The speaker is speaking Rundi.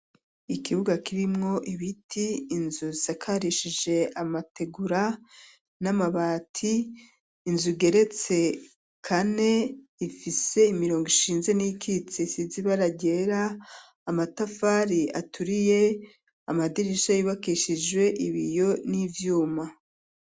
Ikibuga kirimwo ibiti inzu zakarishije amategura n'amabati inzu geretse kane ifise imirongo ishinze n'ikitse isizi bara ryera amatafari aturiye amadirisha y'ibakeshije ibiyo n'ivyuma.